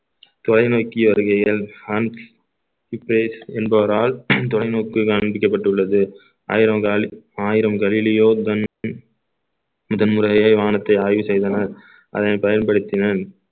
தொலைநோக்கி வருகையில் என்பவரால் தொலைநோக்கு காண்பிக்கப்பட்டுள்ளது ஆயிரம் காலி ஆயிரம் கலிலியோ டன் முதன் முறையாக வானத்தை ஆய்வு செய்தனர் அதனை பயன்படுத்தினேன்